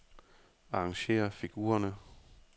Arrangér figurerne.